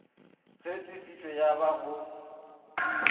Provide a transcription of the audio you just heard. ge tefišo ya ba go